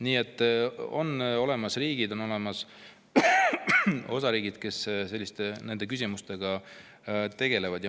Nii et on olemas riigid ja on olemas osariigid, kes selliste küsimustega tegelevad.